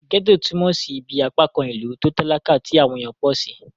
Gẹ́ẹ́tò túnmọ̀ sí ibí apákan ìlú tó talakà tí àwọn èèyàn pọ̀ sí